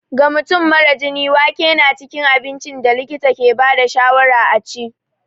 Ga mutum mara jini, wake na cikin abincin da likita ke ba da shawarar a ci.